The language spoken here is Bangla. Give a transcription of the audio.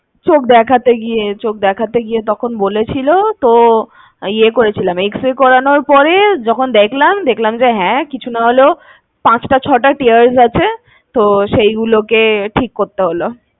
চোখ দেখতে গিয়ে, চোখ দেখতে গিয়ে, তখন বলেছিলো তো ইয়ে করেছিলাম, x-ray করানোর পরে যখন দেখলাম, দেখলাম যে হ্যাঁ কিছু না হলেও পাঁচটা ছয়টা tears আছে তো সেগুলোকে ঠিক করতে হলো।